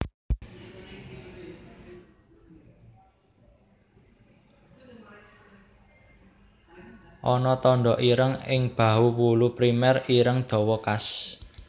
Ana tanda ireng ing bahu wulu primer ireng dawa khas